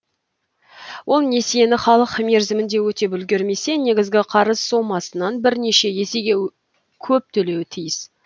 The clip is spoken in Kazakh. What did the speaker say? ол несиені халық мерзімінде өтеп үлгермесе негізгі қарыз сомасынан бірнеше есеге көп төлеуі тиіс